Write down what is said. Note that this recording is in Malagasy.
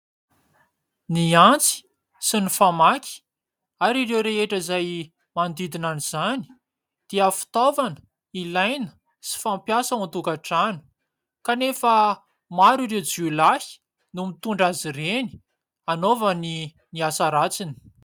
Ny antsy sy ny famaky ary ireo rehetra izay manodidina izany dia fitaovana ilaina sy fampiasa ao an-tokantrano ; kanefa maro ireo jiolahy no mitondra azy ireny hanaovany ny asa ratsiny.